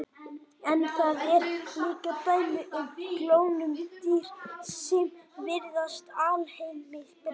En það eru líka dæmi um klónuð dýr sem virðast alheilbrigð.